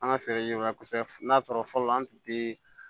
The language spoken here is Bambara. An ka feere yɔrɔ la kosɛbɛ n'a sɔrɔ fɔlɔ an tun bɛ